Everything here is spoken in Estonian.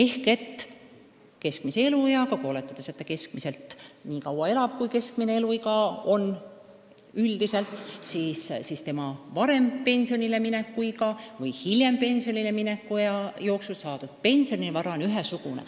Oletades, et enamik inimesi elab nii kaua, kui on keskmine eluiga üldiselt, võib öelda, et inimese kogutud pensionivara on ühesugune, läheb ta siis pensionile varem või hiljem.